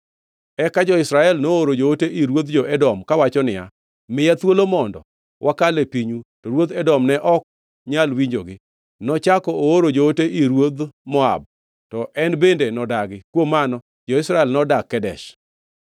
Eka jo-Israel nooro joote ir ruodh jo-Edom, kawacho niya, ‘Miya thuolo mondo wakal e pinyu,’ to ruodh Edom ne ok nyal winjogi. Nochako ooro joote ir ruodh Moab, to en bende nodagi. Kuom mano jo-Israel nodak Kadesh.